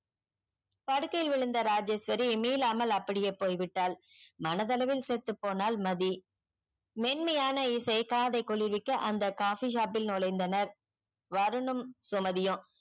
படுக்கையில் எழுந்த ராஜேஸ்வரி மிலாமல் அப்படியே போய் விட்டால் மனது அளவில் செத்து போனால் மதி மேன்மையான இசை காதை குளிவிக்க அந்த coffee shop ல் நொலைந்தனர் வரணும் சுமதியும்